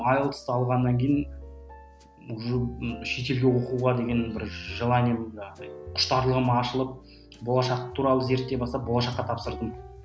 айлсты алғаннан кейін уже ы шетелге оқуға деген бір желание болды андай құштарлығым ашылып болашақ туралы зерттей бастап болашаққа тапсырдым